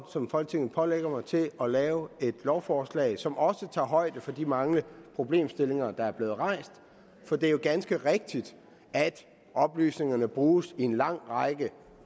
som folketinget pålægger mig til at lave et lovforslag som også tager højde for de mange problemstillinger der er blevet rejst for det er jo ganske rigtigt at oplysningerne bruges i en lang række